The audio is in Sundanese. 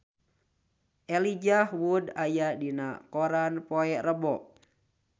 Elijah Wood aya dina koran poe Rebo